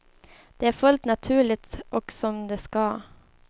Det är fullt naturligt och som det ska.